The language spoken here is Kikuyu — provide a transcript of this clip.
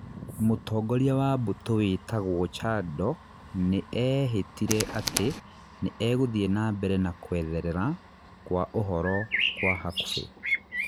Mũtongoria wa Mbũtũ withagwo Kyando nĩ eehĩtire atĩ nĩ egũthiĩ na mbere na kwetherera kwa ũhoro kwa hakubĩ